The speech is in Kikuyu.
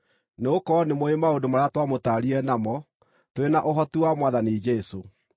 Nĩgũkorwo nĩmũũĩ maũndũ marĩa twamũtaarire namo, tũrĩ na ũhoti wa Mwathani Jesũ.